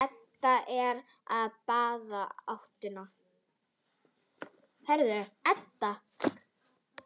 Edda er á báðum áttum.